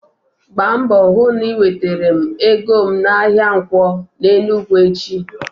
Gba mbọ hụ na i wetara m ego m n'ahịa Nkwo n'Enugwu echi!